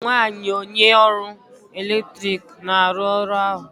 ọ bụ nwanyị onye ọrụ eletrik na-arụ ọrụ ahụ